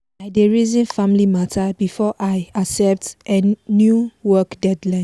i dey reason family matter before i accept new work deadlines